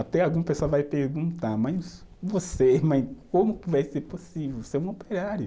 Até alguma pessoa vai perguntar, mas você, mas como que vai ser possível, você é um operário?